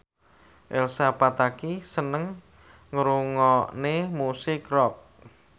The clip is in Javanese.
Elsa Pataky seneng ngrungokne musik rock